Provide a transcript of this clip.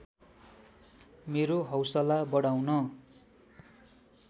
मेरो हौसला बढाउन